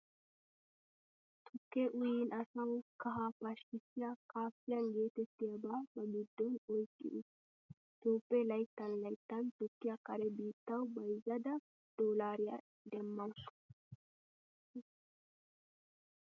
Tukkee uyin asawu kahaa pashkkissiyaa kaafeyn geetettiyaba ba giddon oyqqi uttiis. Toophphiyaa layttan layttan tukkiyaa kare biittawu bayzada doolaariyaa demmawusu.